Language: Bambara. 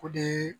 O de ye